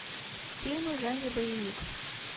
фильмы в жанре боевик